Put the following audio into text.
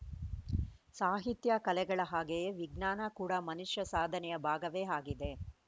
ಸಾಹಿತ್ಯ ಕಲೆಗಳ ಹಾಗೆಯೇ ವಿಜ್ಞಾನ ಕೂಡ ಮನುಷ್ಯ ಸಾಧನೆಯ ಭಾಗವೇ ಆಗಿದೆ